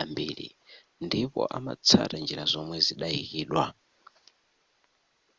ambiri ndipo amatsata njira zomwe zidayikidwa